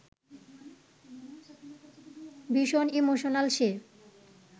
ভীষণ ইমোশনাল সে